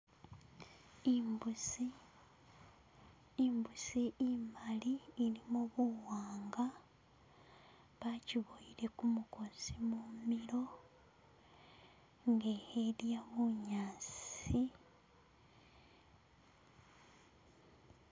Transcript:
Imbusi imbusi imali ilimo buwanga bajibowele mugosi mumilo, nga khelya bunyaasi.